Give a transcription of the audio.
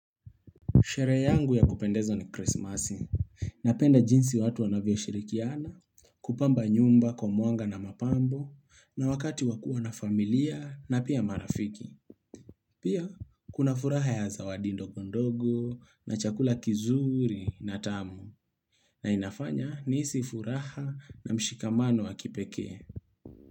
Sherehe yangu ya kupendezo ni Christmas, napenda jinsi watu wanavyo shirikiana, kupamba nyumba kwa mwanga na mapambo, na wakati wakua na familia, na pia marafiki. Pia, kuna furaha ya zawadi ndongo ndogo, na chakula kizuri, na tamu, na inafanya nihisi furaha na mshikamano wakipeke.